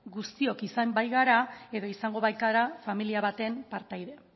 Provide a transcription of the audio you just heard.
guztiok izan baikara edo izango baikara familia baten partaide